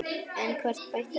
En hvort bætti annað upp.